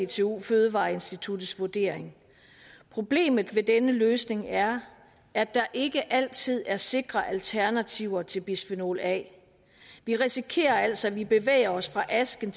dtu fødevareinstituttets vurdering problemet ved denne løsning er at der ikke altid er sikre alternativer til bisfenol a vi risikerer altså at vi bevæger os fra asken